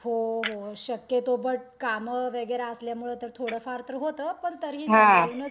हो हो शक्यतो, बट कामं वगैरे असल्यामुळे थोडंफार तरी होतं पण तरीही संभाळूनच